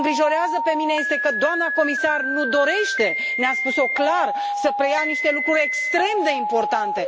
Ce mă îngrijorează pe mine este că doamna comisar nu dorește, ne a spus o clar, să preia niște lucruri extrem de importante.